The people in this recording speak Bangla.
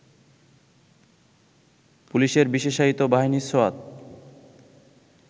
পুলিশের বিশেষায়িত বাহিনী সোয়াত